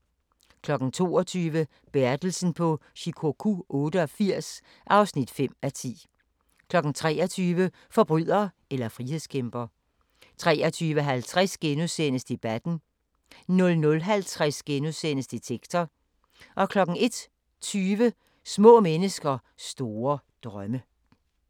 22:00: Bertelsen på Shikoku 88 (5:10) 23:00: Forbryder eller frihedskæmper 23:50: Debatten * 00:50: Detektor * 01:20: Små mennesker store drømme